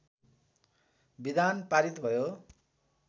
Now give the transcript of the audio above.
विधान पारित भयो